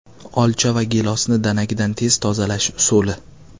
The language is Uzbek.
Olcha va gilosni danagidan tez tozalash usuli .